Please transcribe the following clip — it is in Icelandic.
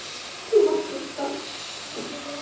Þú varst svo stolt.